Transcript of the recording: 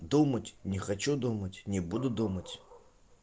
думать не хочу думать не буду думать